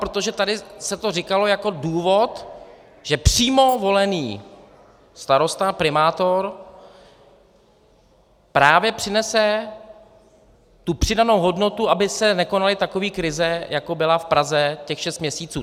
Protože tady se to říkalo jako důvod, že přímo volený starosta, primátor, právě přinese tu přidanou hodnotu, aby se nekonaly takové krize, jako byla v Praze těch šest měsíců.